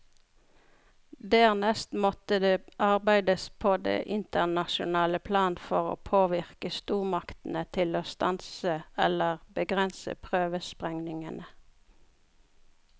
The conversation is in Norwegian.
Dernest måtte det arbeides på det internasjonale plan for å påvirke stormaktene til å stanse eller begrense prøvesprengningene.